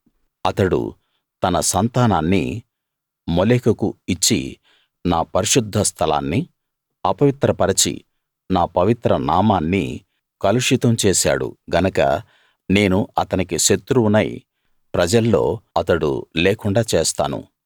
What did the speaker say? అతడు తన సంతానాన్ని మోలెకుకు ఇచ్చి నా పరిశుద్ధ స్థలాన్ని అపవిత్రపరచి నా పవిత్ర నామాన్ని కలుషితం చేశాడు గనక నేను అతనికి శత్రువునై ప్రజల్లో అతడు లేకుండా చేస్తాను